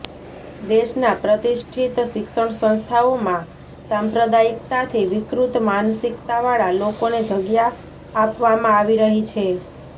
દેશના પ્રતિષ્ઠિત શિક્ષણ સંસ્થાઓમાં સાંપ્રદાયિક્તાથી વિકૃત માનસિક્તાવાળા લોકોને જગ્યા આપવામાં આવી રહી છે